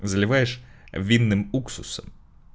заливаешь винным уксусом